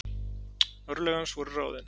Örlög hans voru ráðin.